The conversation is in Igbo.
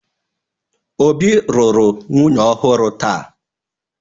Obi lụrụ nwunye ọhụrụ taa